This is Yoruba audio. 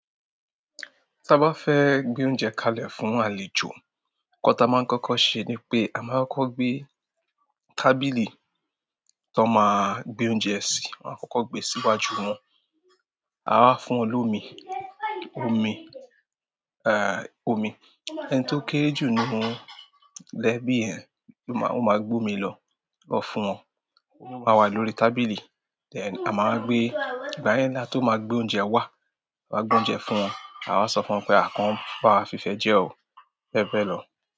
Tí a bá fẹ́ gbé oúnjẹ kalẹ̀ fún àlejò, nkán tí a máa ń kọ́kọ́ ṣe ni pé a máa kọ́kọ́ gbé tábìlì tó máa gbé oúnjẹ sí, a máa kọ́kọ́ gbé síwájú wọn. A wa fún wọn lómi, omi. Ẹni tí ó kéré jù nínú ẹ́bí yen, ó máa gbé omi lọ fún wọn. Omi máa wà lórí tábìlì. Then ama wa gbe, ìgbà ge la to ma gbe oúnjẹ wa, a ma gbe oúnjẹ fún wọn. A wa sọ fún wọn pé kọ́ń bá wa fi ifẹ́ jẹ o, bẹ́ẹ̀ bẹ́ẹ̀ lọ.